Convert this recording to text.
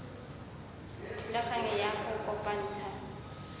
thulaganyo ya go kopantsha